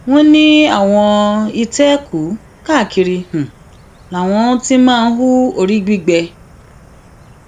wọn ní àwọn ìtẹkùú káàkiri làwọn ti máa ń hu orí gbígbé